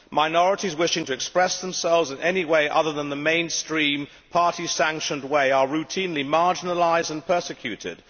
Minorities wishing to express themselves in any way other than the mainstream Party sanctioned way are routinely marginalised and persecuted.